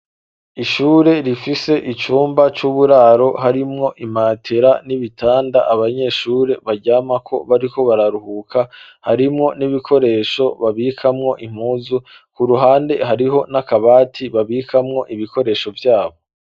ishure rifise icumba c'uburaro harimwo imatera n'ibitanda abanyeshure baryamako bariko bararuhuka harimwo n'ibikoresho babikamwo impuzu ku ruhande hariho n'akabati babikamwo ibikoresho vyabo